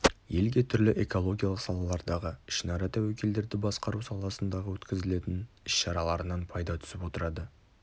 елге түрлі экологиялық салалардағы ішінара тәуекелдерді басқару саласындағы өткізілетін іс-шараларынан пайда түсіп отырады